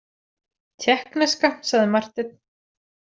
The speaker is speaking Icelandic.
Tékkneska, sagði Marteinn.